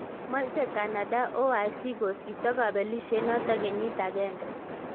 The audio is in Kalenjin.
Moche Canada OIC kosipto kobelisiet noton kenyit agenge.